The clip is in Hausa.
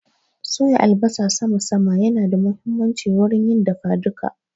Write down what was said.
Soya albasa sama sama ya na da muhimmanci wurin yin dafa duka